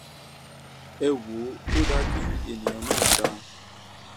ẹ wò ó ò dáa kí èèyàn náà dáa